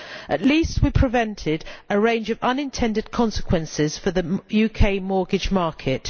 At least we prevented a range of unintended consequences for the UK mortgage market.